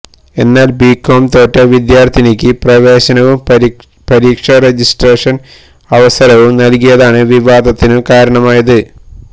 എന്നാൽ ബികോം തോറ്റ വിദ്യാർത്ഥിനിക്ക് പ്രവേശനവും പരീക്ഷ രജിസ്ട്രേഷന് അവസരവും നൽകിയതാണ് വിവാദത്തിന് കാരണമായത്